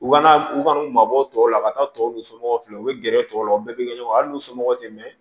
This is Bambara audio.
U ka na u ka n'u mabɔ tɔw la ka taa tɔw somɔgɔw filɛ u bɛ gɛrɛ tɔw la u bɛɛ bɛ kɛ ɲɔgɔn a n'u somɔgɔw tɛ mɛn